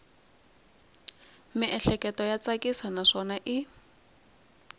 miehleketo ya tsakisa naswona i